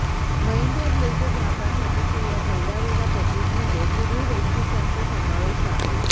Mahindra Blazo ग्राहकांसाठीच्या या पहिल्यावहिल्या पॅकेजमध्ये पुढील वैशिष्टय़ांचा समावेश आहे